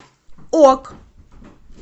ок